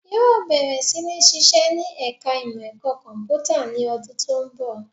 Yóò bẹ̀rẹ̀ sí ní sisẹ́ ní ẹ̀ka ìmọ ẹ̀rọ kọ̀m̀pútà ní ọdún tó ń bọ̀